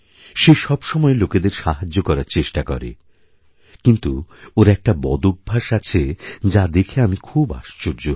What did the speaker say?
সে সবসময়লোকেদের সাহায্য করার চেষ্টা করে কিন্তু ওর একটা বদভ্যাস আছে যা দেখে আমি খুবআশ্চর্য হই